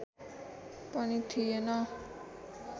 पनि थिएन